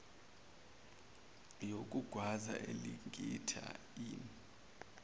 yokugwaza elingitta inn